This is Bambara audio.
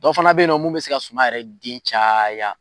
Dɔ fana be yen nɔ mun bɛ se ka suman yɛrɛ den caya